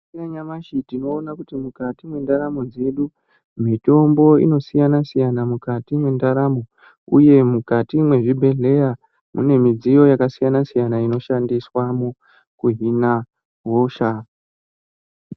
Yanyamashi tinoona kuti mukati mwendaramo dzedu mitombo inosiyana -siyana, mukati mwendaramo uye mukati mwezvibhedhleya mune midziyo yakasiyana-siyana ino shandiswamo kuhina hosha.